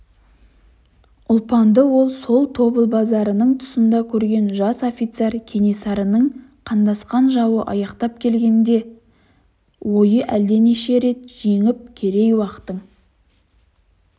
ұлпанды ол сол тобыл базарының тұсында көрген жас офицер кенесарының қандасқан жауы аяқтап келгенде ойы әлденеше рет жеңіп керей-уақтың